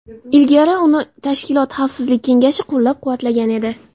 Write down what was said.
Ilgari uni tashkilot Xavfsizlik Kengashi qo‘llab-quvvatlagan edi.